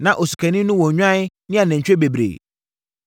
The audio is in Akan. Na osikani no wɔ nnwan ne anantwie bebree,